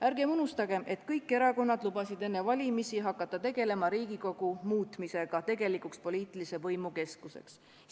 Ärgem unustagem, et kõik erakonnad lubasid enne valimisi hakata tegelema Riigikogu muutmisega tegelikuks poliitilise võimu keskuseks.